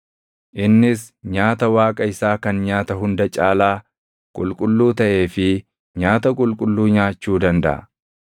Innis nyaata Waaqa isaa kan nyaata hunda caalaa qulqulluu taʼee fi nyaata qulqulluu nyaachuu dandaʼa.